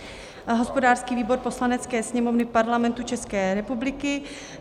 Hospodářský výbor Poslanecké sněmovny Parlamentu České republiky